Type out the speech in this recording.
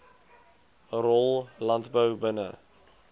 rol landbou binne